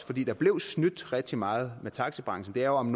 fordi der blev snydt rigtig meget i taxibranchen det er jo om